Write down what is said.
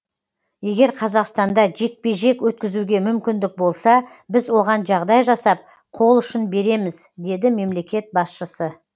егер қазақстанда жекпе жек өткізуге мүмкіндік болса біз оған жағдай жасап қол ұшын береміз деді мемлекет басшысы